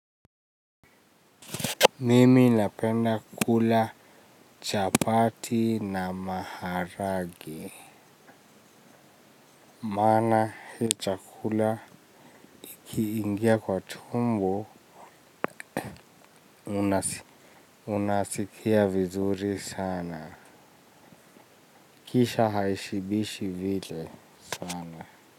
Mimi ninapenda kula chapati na maharagwe. Maana hii chakula ikiingia kwa tumbo unasikia vizuri sana. Kisha haishibishi vile sana.